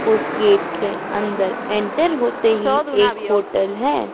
उस गेट के अंदर एन्टर होते ही एक होटल हैं।